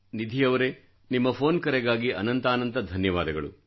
ನಿಧಿಯವರೆ ನಿಮ್ಮ ಫೋನ್ ಕರೆಗಾಗಿ ಅನಂತಾನಂತ ಧನ್ಯವಾದಗಳು